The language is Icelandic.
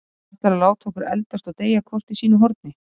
Ætlarðu að láta okkur eldast og deyja hvort í sínu horni?